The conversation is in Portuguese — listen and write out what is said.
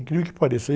Incrível que pareça.